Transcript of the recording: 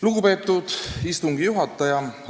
Lugupeetud istungi juhataja!